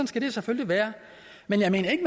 skal det selvfølgelig være men jeg mener ikke